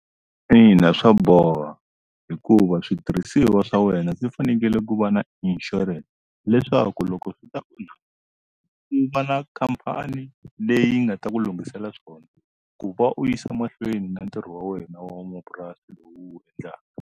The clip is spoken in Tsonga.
Ina swa boha hikuva switirhisiwa swa wena swi fanekele ku va na inshurense leswaku loko swi ta ku va na khampani leyi nga ta ku lunghisela swona ku va u yisa mahlweni na ntirho wa wena wa mamapurasi lowu u wu endlaka.